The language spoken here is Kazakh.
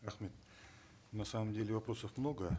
рахмет на самом деле вопросов много